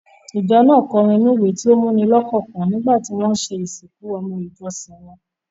Ìjọ náà kọ orin inú-ìwé tó múni lọ́kàn kan nígbà tí wọ́n ṣe ìsìnkú ọmọ ìjọsìn wọn.